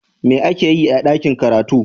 me ake Yi a dakin karatu?